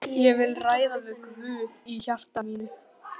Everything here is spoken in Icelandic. Ég vil ræða við Guð í hjarta mínu.